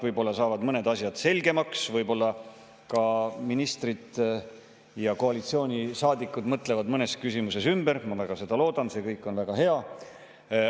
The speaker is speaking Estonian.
Võib-olla saavad mõned asjad selgemaks, võib-olla mõtlevad ministrid ja koalitsioonisaadikud mõnes küsimuses ümber, ma väga loodan seda – see kõik on väga hea.